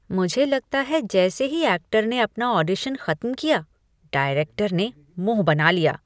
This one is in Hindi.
मुझे लगता है जैसे ही ऐक्टर ने अपना ऑडिशन खत्म किया, डायरेक्टर ने मुंह बना लिया।